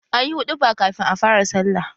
Anyi huɗuba kafin a fara sallah